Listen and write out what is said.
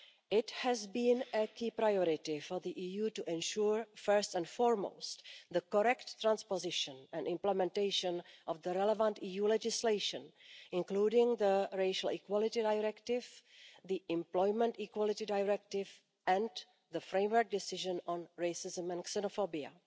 It has been a key priority for the EU to ensure first and foremost the correct transposition and implementation of the relevant EU legislation, including the Racial Equality Directive, the Employment Equality Directive and the Framework Decision on racism and xenophobia.